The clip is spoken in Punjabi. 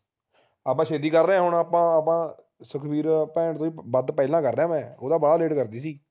ਆਪਾ ਛੇਤੀ ਕਰ ਰਹੇ ਹੈ ਹੁਣ ਆਪਾ ਆਪਾ ਸੁਖਬੀਰ ਭੈਣ ਤੋਂ ਵੀ ਵੱਧ ਪਹਿਲਾਂ ਕਰ ਰਿਹਾ ਹੈ ਮੈਂ ਉਹ ਤਾ ਬਾਲਾ late ਕਰਦੀ ਸੀ